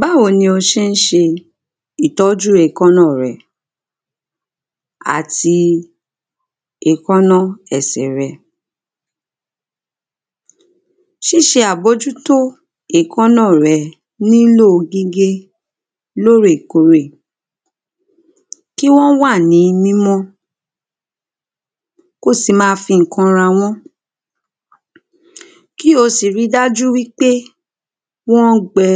báwo ni o nṣ̣é ṣe ìtọ́jú èkáná rẹ àti èkáná ẹsẹ̀ rẹ ṣíṣe àbójú tó èkáná rẹ nílò gígé lórè korè kí wọ́n wà ní mímọ́ ko sì ma fi ǹkan ra wọ́n kí ò sì ri dájú wípé wọ́n gbẹ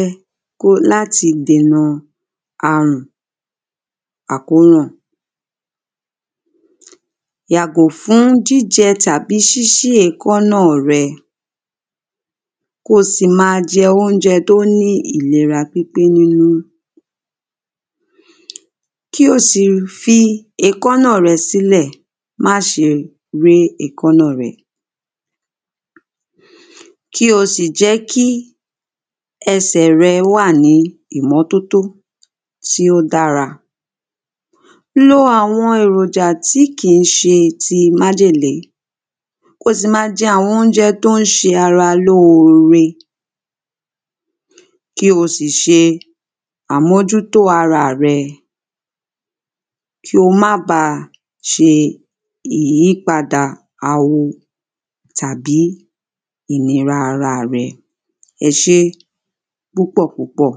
ko láti dena àrùn àkóràn yàgò fún jìjẹ tàní ṣíṣí èkáná rẹ ko sì ma jẹ óúnjẹ tó ní ìlera pípé nínú ki ò si fi èkáná rẹ sílẹ̀ máṣe ré èkáná rẹ kí o sì jẹ́ kí ẹsẹ̀ rẹ wà ní ìmọ́tótó tí ó dára lo àwọn èròjà tí kìí ṣe ti májèlé ko sì ma jẹ àwọn óúnjẹ tó ń ṣe ara lóore kí o sì ṣe àmójútó ara rẹ ki ó ba ṣe ìyípadà awo tàbí ìlera ara rẹ ẹṣé púpọ̀púpọ́